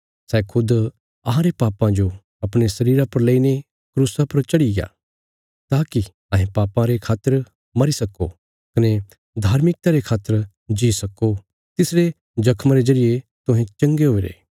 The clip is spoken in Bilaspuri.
सै खुद अहांरे पापां जो अपणे शरीरा पर लेईने क्रूसा पर चढ़ीग्या ताकि अहें पापां रे खातर मरी सक्को कने धार्मिकता रे खातर जी सक्को तिसरे जख्मां रे जरिये तुहें चंगे हुईरे